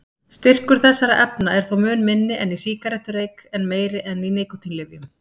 Styrkur þessara efna er þó mun minni en í sígarettureyk en meiri en í nikótínlyfjum.